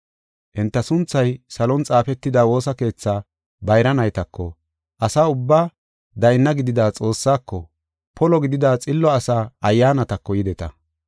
Enta sunthay salon xaafetida woosa keethaa bayra naytako, asa ubbaa dayna gidida Xoossaako, polo gidida xillo asaa ayyaanatako yideta.